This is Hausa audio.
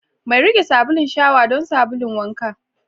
Mai riƙe sabulun shawa don sabulun wanka.